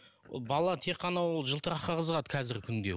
ол бала ол тек қана ол жылтыраққа қызығады қазіргі күнде